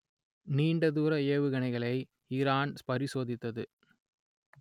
நீண்ட தூர ஏவுகணைகளை ஈரான் பரிசோதித்தது